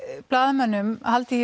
blaðamönnum haldið